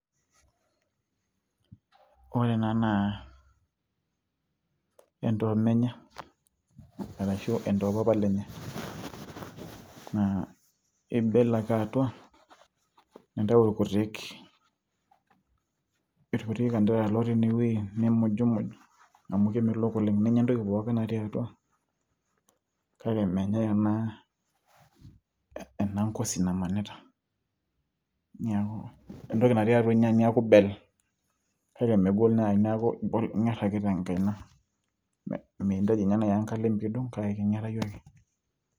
Ore ena naa, endomenye arashu endopapa lenye. Na ibel ake atua, nintayu irkutik kanderara lotii inewueji, nimujumuj amu kemelok oleng'. Ninya entoki pookin natii atua kake menyai ena ngozi namanita. Neeku entoki natii atua inya neku ibel, kake megol nai neku ing'er ake tenkaina, mintaji nye nai enkalem pidung',kake keng'erayu ake.